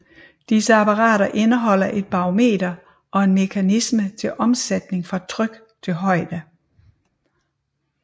Disse apparater indeholder et barometer og en mekanisme til omsætning fra tryk til højde